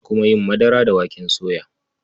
Ana kuma yin madara da waken soya.